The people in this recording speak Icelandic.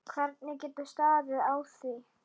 Hvernig getur staðið á því?